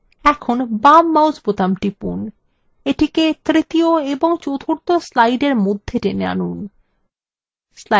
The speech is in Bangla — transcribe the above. এখন বাম mouse বোতাম টিপুন এটিকে তৃতীয় এবং চতুর্থ slideএর মধ্যে টেনে আনুন